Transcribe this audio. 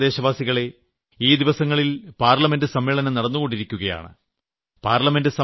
എന്റെ പ്രിയപ്പെട്ട ദേശവാസികളെ ഈ ദിവസങ്ങളിൽ പാർലമെന്റ് സമ്മേളനം നടന്നു കൊണ്ടിരിക്കുകയാണ്